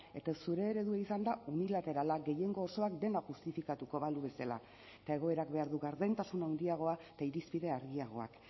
eta zure eredua izan da unilaterala gehiengo osoak dena justifikatuko balu bezala eta egoerak behar du gardentasun handiagoa eta irizpide argiagoak